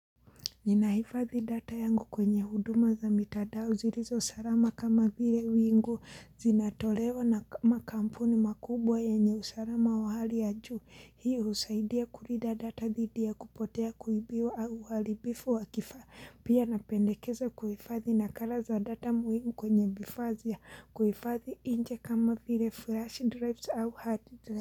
Ninahifadhi data yangu kwenye huduma za mitandao zilizo salama kama vile wingu zinatolewa na makampuni makubwa yenye usalama wa hali ya juu. Hii husaidia kulinda data dhidi ya kupotea kuibiwa au uharibifu wa kifaa. Pia napendekeza kuhifadhi nakala za data muhimuu kwenye vifaa za kuhifadhi nje kama vile flash drives au hard drives.